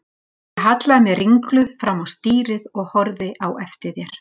Ég hallaði mér ringluð fram á stýrið og horfði á eftir þér.